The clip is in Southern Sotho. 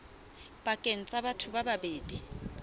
pakeng tsa batho ba babedi